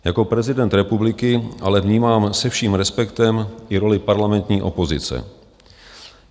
Jako prezident republiky ale vnímám se vším respektem i roli parlamentní opozice.